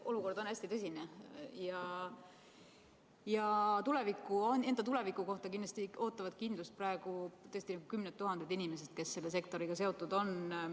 Olukord on hästi tõsine ja enda tuleviku kohta ootavad kindlust praegu kümned tuhanded inimesed, kes on selle sektoriga seotud.